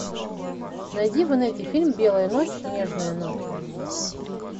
найди в инете фильм белая ночь нежная ночь